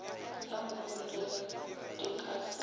ya moholegi di ka se